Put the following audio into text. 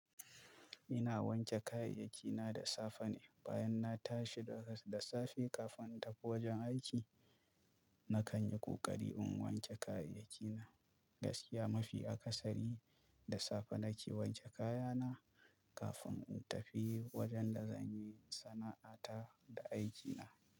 Ina wanke kayayyaki na da safe ne, bayan na tashi da, da safe kafin in tafi wajen aiki. Na kan yi ƙoƙari in wanke kayayyaki na gaskiya. Mafi akasari da safe na ke wanke kaya na. Kafin in tafi wajen da zanyi sana'a ta da aiki na.